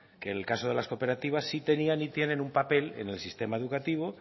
que el caso de las cooperativas sí tenían y tienen un papel en el sistema educativo